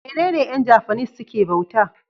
menene Yan japanese suke bauta?